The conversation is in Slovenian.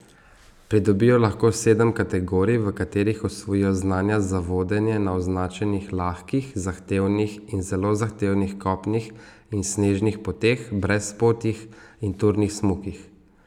Pridobijo lahko sedem kategorij, v katerih osvojijo znanja za vodenje na označenih lahkih, zahtevnih in zelo zahtevnih kopnih in snežnih poteh, brezpotjih in turnih smukih.